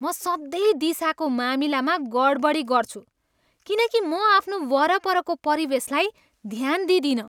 म सधैँ दिशाको मामिलामा गडबडी गर्छु किनकि म आफ्नो वरपरको परिवेशलाई ध्यान दिँदिनँ।